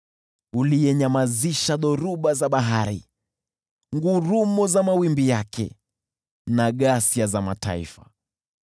uliyenyamazisha dhoruba za bahari, ngurumo za mawimbi yake, na ghasia za mataifa.